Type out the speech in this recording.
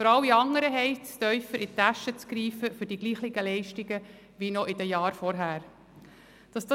Für alle anderen heisst es, für die gleichen Leistungen wie noch in den Jahren vorher tiefer in die Tasche zu greifen.